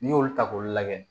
N'i y'olu ta k'u lajɛ